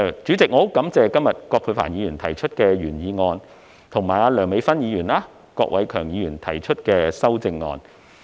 主席，我很感謝葛珮帆議員今天提出原議案，以及梁美芬議員和郭偉强議員提出修正案。